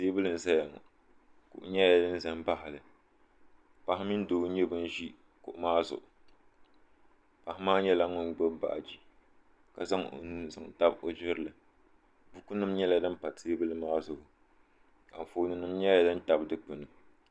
Teebuli n zaya ŋɔ kuɣu nyɛla din za m baɣali paɣa mini doo n nyɛ ban ʒi kuɣu maa zuɣu paɣa maa nyɛla ŋun gbibi baaji ka zaŋ o nuu n zaŋ tabi o jirili bukunima nyɛla din pa teebuli maa zuɣu anfooni nima nyɛla din tabi dikpini.